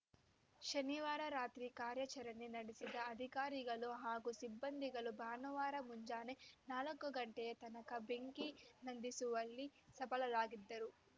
ಶನಿವಾರ ರಾತ್ರಿ ಕಾರ್ಯಾಚರಣೆ ನಡೆಸಿದ ಅಧಿಕಾರಿಗಳು ಹಾಗು ಸಿಬ್ಬಂದಿಗಳು ಭಾನುವಾರ ಮುಂಜಾನೆ ನಾಲ್ಕು ಗಂಟೆಯ ತನಕ ಬೆಂಕಿ ನಂದಿಸುವಲ್ಲಿ ಸಫಲರಾಗಿದ್ದರು